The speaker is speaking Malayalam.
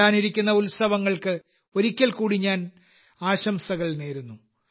വരാനിരിക്കുന്ന ഉത്സവങ്ങൾക്ക് ഒരിക്കൽ കൂടി ഞാൻ എന്റെ ആശംസകൾ നേരുന്നു